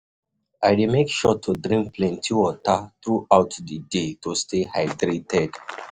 I dey make sure to drink plenty water throughout the day to stay hydrated.